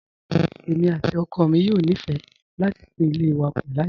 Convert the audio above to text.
Èmi àti ọkọ mi yóò nífẹ̀ẹ́ láti tún ilé wa kun láìpẹ́.